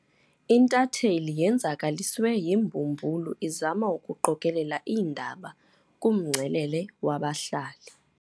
Intatheli yenzakaliswe yimbumbulu izama ukuqokelela iindaba kumngcelele wabahlali.